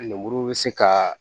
Lemuru bɛ se kaa